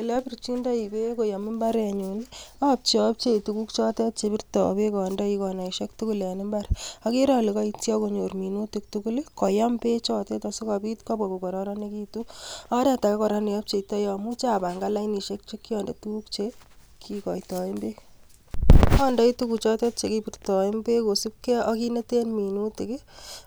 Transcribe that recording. Ole obirchindoi beek koyom imbarenyun I,apcheoapcheo tuguuk chotet chebirto beek koyom konaisiek tugul en imbar, agere ale koityii ak konyor minutia tugul koyam bechoton sikobwa kokororonekitun, amuche apangan lainisiek chekiondee tuguuk chekikkoitoen beek. Andoi tuguchoton chekibirtoen beek kosiibgee ak kit neten minutia,